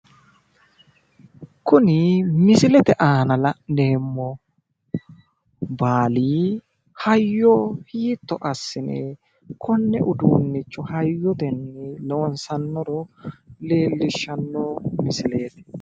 Kuni misilete aana la'neemo baali hayyo hiitto assine konne uduunnicho hayyotenni loonsanniro leellishanno misileeti.